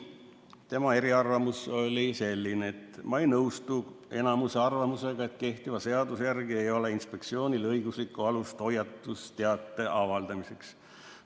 Tema eriarvamus oli selline: "Ma ei nõustu koosseisu enamuse arvamusega, et kehtiva seaduse järgi ei ole Finantsinspektsioonil õiguslikku alust hoiatusteate avaldamiseks.